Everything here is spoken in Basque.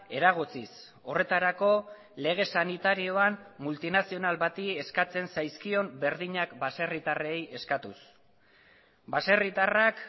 eragotziz horretarako lege sanitarioan multinazional bati eskatzen zaizkion berdinak baserritarrei eskatuz baserritarrak